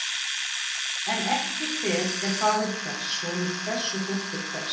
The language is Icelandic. En ekki hver er faðir hvers, sonur hvers og dóttir hvers.